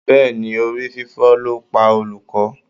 Bẹ́ẹ̀ni, orí fífọ́ ló pa olùkọ́.